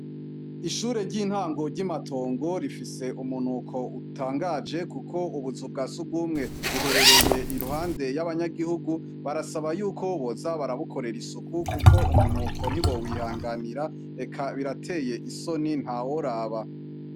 Ishure ry'intango ry'imatongo rifise umunuko utangaje kuko ubuzu bwa sugumwe buherereye iruhande y'abanyagihugu barasaba y'uko boza barabukorera isuku kuko umunuko ntibo wihanganira reka birateye isoni nta woraba.